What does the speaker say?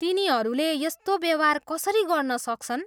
तिनीहरूले यस्तो व्यवहार कसरी गर्न सक्छन्?